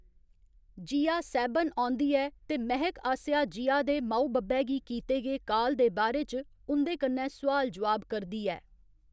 जिया सैह्‌‌‌बन औंदी ऐ ते महक आसेआ जिया दे म'ऊ बब्बै गी कीते गे काल दे बारे च उं'दे कन्नै सोआल जोआब करदी ऐ।